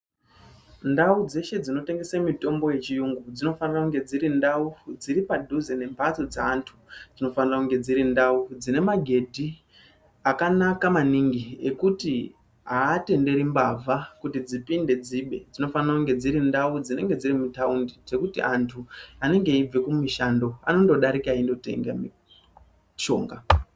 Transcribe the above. Ndau dzeshe dzinotengesa mitombo yechiyungu dzinofana kunge dziri ndau dziri padhuze nemhatso dzeantu. Dzinofana kunge dziri ndau dzine magedhi akanaka maningi ekuti aatenderi mbavha kuti dzipinde dzibe. Dzinofana kunge dziri ndau dzinenge dziri mutaundi dzekuti antu anenge eibva kumishando anongodarika enditenge mishonga.